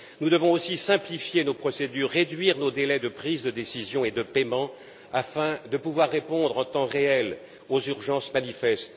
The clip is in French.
Nous devons aussi simplifier nos procédures, réduire nos délais de prise de décisions et de paiements afin de pouvoir répondre en temps réel aux urgences manifestes.